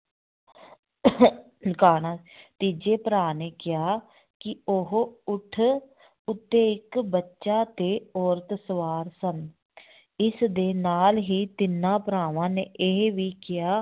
ਕਾਣਾ ਤੀਜੇ ਭਰਾ ਨੇ ਕਿਹਾ ਕਿ ਉਹ ਊਠ ਉੱਤੇ ਇੱਕ ਬੱਚਾ ਤੇ ਔਰਤ ਸਵਾਰ ਸਨ ਇਸ ਦੇ ਨਾਲ ਹੀ ਤਿੰਨਾਂ ਭਰਾਵਾਂ ਨੇ ਇਹ ਵੀ ਕਿਹਾ